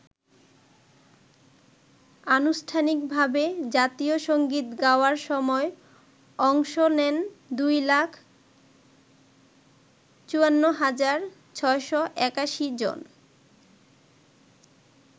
আনুষ্ঠানিকভাবে জাতীয় সঙ্গীত গাওয়ার সময় অংশ নেন ২ লাখ ৫৪ হাজার ৬৮১ জন।